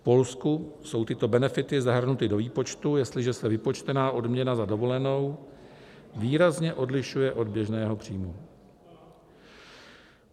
V Polsku jsou tyto benefity zahrnuty do výpočtu, jestliže se vypočtená odměna za dovolenou výrazně odlišuje od běžného příjmu.